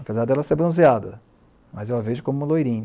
Apesar dela ser bronzeada, mas eu a vejo como uma loirinha.